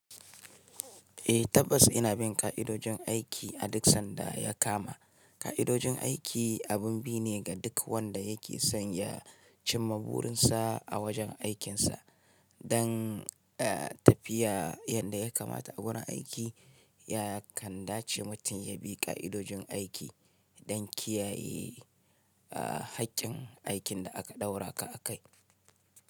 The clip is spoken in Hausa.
Eh tabbas ina bin ka'idojin aiki a duk sanda ya kama. Ka'idojin aiki abun bi ne ga duk wanda yake son ya cimma burinsa a wajen aikinsa. Dan tafiya yadda ya kamata a gurin aiki ya kan dace mutum ya bi ka'idojin aiki dan kiyaye haƙƙin aikin da aka ɗaura ka akai.